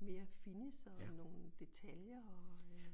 mere finish og nogle detaljer og øh